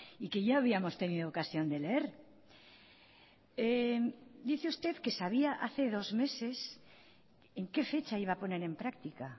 y que ya habíamos tenido ocasión de leer dice usted que sabia hace dos meses en qué fecha iba a poner en práctica